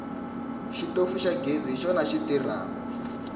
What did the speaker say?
xitofu xa ghezi hi xona xi tirhako